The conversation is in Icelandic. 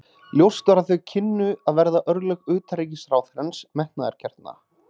Ljóst var að þau kynnu að verða örlög utanríkisráðherrans metnaðargjarna.